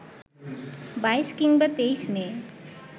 ২২ কিংবা ২৩ মে